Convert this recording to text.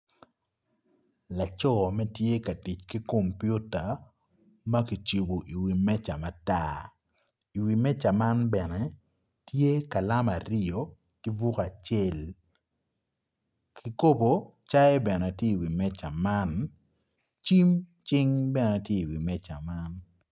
Laco ma tye ka tic ki kompiuta ma ki cibu iwi meja matar i wi meja man bene tye kalam aryo ki buk acel kikubo cai bene ti i wi meja man cim cing bene ti i wi meja man